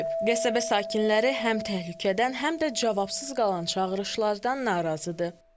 Qəsəbə sakinləri həm təhlükədən, həm də cavabsız qalan çağırışlardan narazıdır.